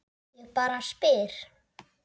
Ég bara spyr